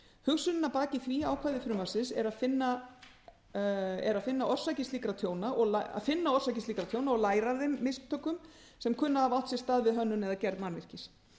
hugsunin að baki því ákvæði frumvarpsins er að finna orsakir slíkra tjóna og læra af þeim mistökum sem kunna að hafa átt sér stað við hönnun eða gerð mannvirkis